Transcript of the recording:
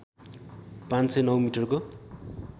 ५०९ मिटरको